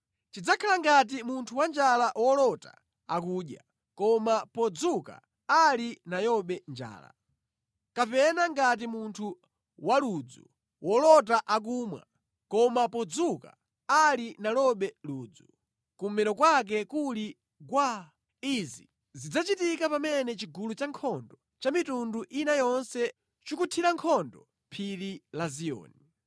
Chidzakhala ngati munthu wanjala wolota akudya, koma podzuka ali nayobe njala; kapena ngati munthu waludzu wolota akumwa, koma podzuka, ali nalobe ludzu, kummero kwake kuli gwaa. Izi zidzachitika pamene chigulu cha nkhondo cha mitundu ina yonse chikunthira nkhondo Phiri la Ziyoni.